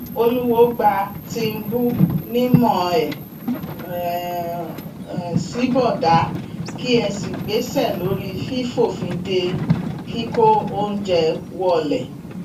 olùwòo gba tìǹbù nímọ ẹ sì bọdà kí ẹ sì gbéṣẹ lórí fífòfin de kíkó oúnjẹ wọlẹ